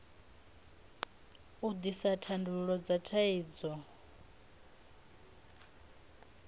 u ḓisa thandululo dza thaidzo